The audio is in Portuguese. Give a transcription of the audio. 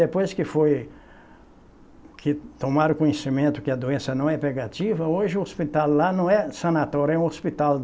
Depois que foi que tomaram conhecimento que a doença não é pegativa, hoje o hospital lá não é sanatório, é um hospital.